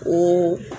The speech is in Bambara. Ee